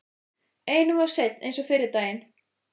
Einum of seinn eins og fyrri daginn!